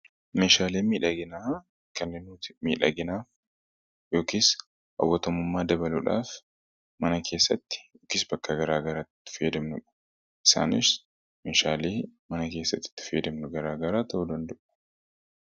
meeshaalee miidhaginaa kanneen nuuti miidhaginaaf yookiis hawwatumummaa dabaluudhaaf mana keessatti yookiis bakka garagaraatti fayyadamnudha. isaanis meeshaalee mana keessatti itti fayyadamnu garaa garaa ta'uu dandu'u.